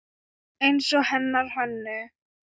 Eins og hennar Hönnu.